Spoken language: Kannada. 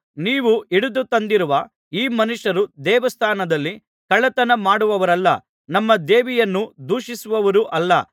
ನೀವು ಹಿಡಿದುತಂದಿರುವ ಈ ಮನುಷ್ಯರು ದೇವಸ್ಥಾನದಲ್ಲಿ ಕಳ್ಳತನ ಮಾಡುವವರಲ್ಲ ನಮ್ಮ ದೇವಿಯನ್ನು ದೂಷಿಸುವವರೂ ಅಲ್ಲ